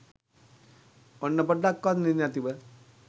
ඔන්න පොඩ්ඩක්වත් නිදිනැතිව